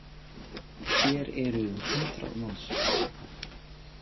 Hér eru um hundrað manns